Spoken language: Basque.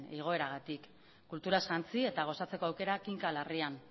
igoeragatik kulturaz jantzi eta gozatzeko aukera kinka larrian